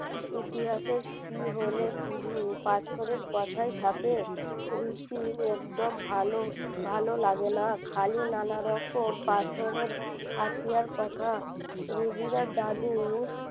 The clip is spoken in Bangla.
ইতিহাসের কি হলে শুধু পাথরের কথাই থাকে রুচি একদম ভালো ভালো লাগে না খালি নানারকম পাথরের হাতিয়ার কথা রুগিরা দাদুর